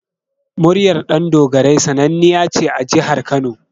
Muryar Ɗandogarai sannaniya ce a Jihar Kano.